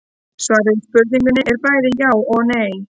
Svarið við spurningunni er bæði já og nei.